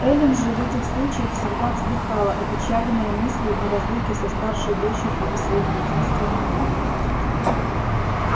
эллин же в этих случаях всегда вздыхала опечаленная мыслью о разлуке со старшей дочерью и своим единственным внуком